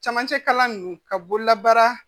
Camancɛ kalan ninnu ka bololabaara